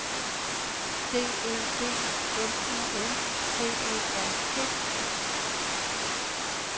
D Ø D M U N T E R T